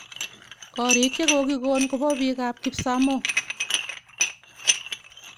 Korik chokokikon kopa pik ap kipsamoo.